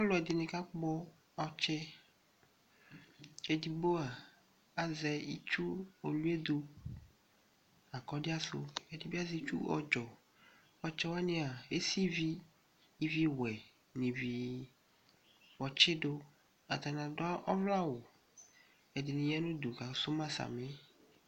Ɔlʋ ɛdini kakpɔ ɔts Edigbo a azɛ itsu oluɛdʋ akɔdia di, ɛdi bi azɛ itsu ɔdzɔ Ɔtsɛwani ava, esi ivi, ivi wɛ, n'ivi ɔtsidʋ, atani adʋ ɔwlɛ awʋ, ɛdini ya n'ʋdu kasu ma sami